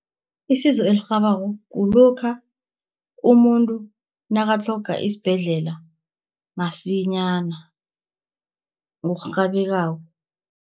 Isizo elirhabako kulokha, umuntu nakatlhoga isibhedlela msinyana ngokurhabekako.